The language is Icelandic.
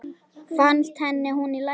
Fannst henni hún í lagi?